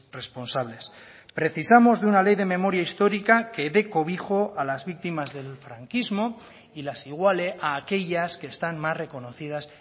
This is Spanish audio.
responsables precisamos de una ley de memoria histórica que dé cobijo a las víctimas del franquismo y las iguale a aquellas que están más reconocidas